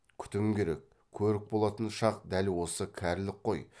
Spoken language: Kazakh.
күтім керек көрік болатын шақ дәл осы кәрілік қой